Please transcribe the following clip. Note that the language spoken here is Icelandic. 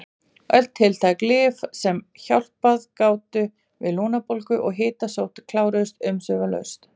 Öll tiltæk lyf sem hjálpað gátu við lungnabólgu og hitasótt kláruðust umsvifalaust.